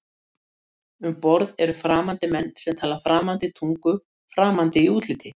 Útihurðinni var hrundið upp og inn þustu Halldór, Páll og Arnór og Gunni í